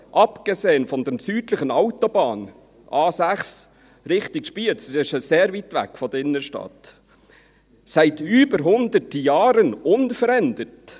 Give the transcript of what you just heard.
«abgesehen von der südlich an Thun vorbei führenden Autobahn A6» – in Richtung Spiez, das ist ja sehr weit weg von der Innenstadt – «seit über hundert Jahren […] unverändert.